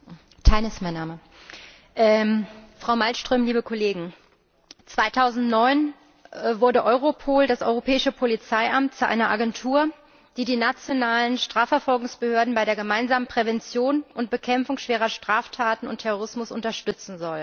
Herr Präsident, Frau Malmström, liebe Kolleginnen und Kollegen! 2009 wurde Europol, das Europäische Polizeiamt, zu einer Agentur, die die nationalen Strafverfolgungsbehörden bei der gemeinsamen Prävention und Bekämpfung von schweren Straftaten und Terrorismus unterstützen soll.